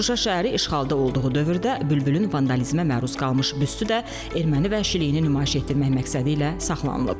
Şuşa şəhəri işğalda olduğu dövrdə Bülbülün vandalizmə məruz qalmış büstü də erməni vəhşiliyini nümayiş etdirmək məqsədilə saxlanılıb.